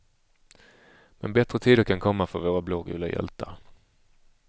Men bättre tider kan komma för våra blågula hjältar.